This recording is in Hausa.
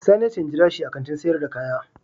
Sani ya ce in jira shi a Kantin sayar da kaya.